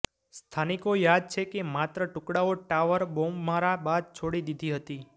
સ્થાનિકો યાદ છે કે માત્ર ટુકડાઓ ટાવર બોમ્બમારા બાદ છોડી દીધી હતી